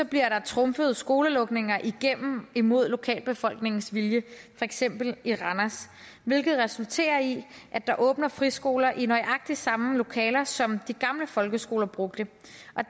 bliver der trumfet skolelukninger igennem imod lokalbefolkningens vilje for eksempel i randers hvilket resulterer i at der åbner friskoler i nøjagtig samme lokaler som de gamle folkeskoler brugte